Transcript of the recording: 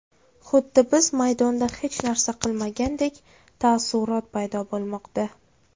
Xuddi biz maydonda hech narsa qilmagandek taassurot paydo bo‘lmoqda.